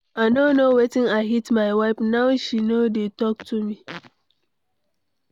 I no know when I hit my wife. Now, she no dey talk to me.